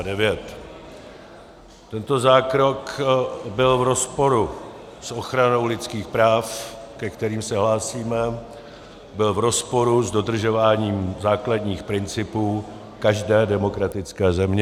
Tento zákrok byl v rozporu s ochranou lidských práv, ke kterým se hlásíme, byl v rozporu s dodržováním základních principů každé demokratické země.